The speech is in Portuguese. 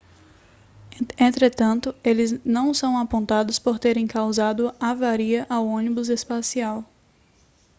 entretanto eles não são apontados por terem causado avaria ao ônibus espacial